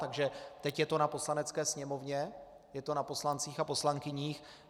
Takže teď je to na Poslanecké sněmovně, je to na poslancích a poslankyních.